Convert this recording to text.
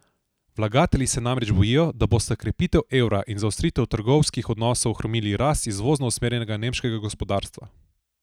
Vlagatelji se namreč bojijo, da bosta krepitev evra in zaostritev trgovinskih odnosov ohromili rast izvozno usmerjenega nemškega gospodarstva.